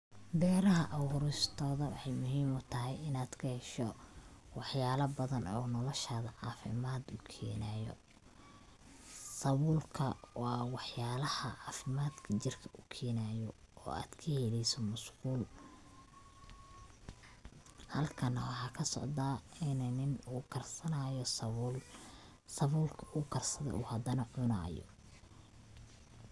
Beeraha abuuristoda waxay muhim utahay inad kahesho wax yala badan oo noloshada caafimad ukeenayo, sabulka waa wax yalaha caafimaadka jirka ukeenayo oo ad kaheeleyso musqul, halkan waxaa kasocda ini nin uu karsanayo sabul, sabulka uu karsade uu hadana cunayo